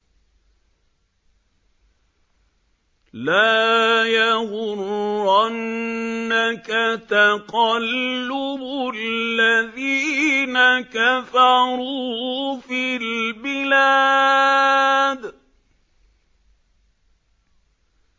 لَا يَغُرَّنَّكَ تَقَلُّبُ الَّذِينَ كَفَرُوا فِي الْبِلَادِ